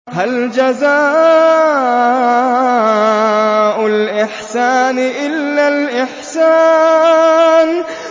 هَلْ جَزَاءُ الْإِحْسَانِ إِلَّا الْإِحْسَانُ